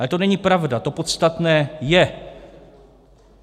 Ale to není pravda, to podstatné je.